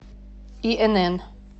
инн